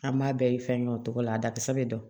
An b'a bɛɛ ye fɛn dɔ togo la a dakisɛ bɛ dɔn